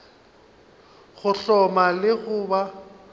go hloma le go ba